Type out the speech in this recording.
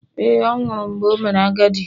Ee, ọ nwụrụ mgbe o mere agadi.